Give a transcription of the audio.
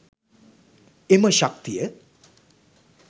එම ශක්තිය